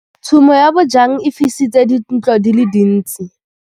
Tshumô ya bojang e fisitse dintlo di le dintsi.